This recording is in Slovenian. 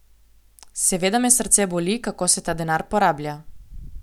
Seveda me srce boli, kako se ta denar porablja.